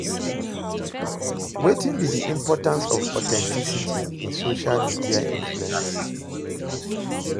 Wetin be di importance of authenticity in social media influence?